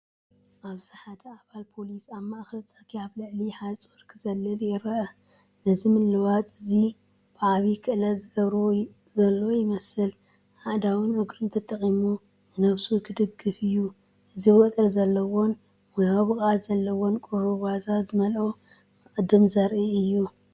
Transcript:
ኣብዚ ሓደ ኣባል ፖሊስ ኣብ ማእከል ጽርግያ ኣብ ልዕሊ ሓጹር ክዘልል ይርአ። ነዚ ምልውዋጥ እዚ ብዓቢ ክእለት ዝገብሮ ዘሎ ይመስል፣ ኣእዳዉን እግሩን ተጠቒሙ ንነብሱ ክድግፍ እዩ። እዚ ወጥሪ ዘለዎን ሞያዊ ብቕዓት ዘለዎን፤ ቁሩብ ዋዛ ዝመልኦ መቕድም ዘርኢእዩ።